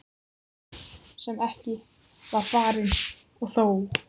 Ferð sem ekki var farin- og þó!